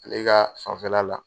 Ale ka fanfɛla la.